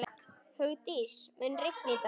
Hugdís, mun rigna í dag?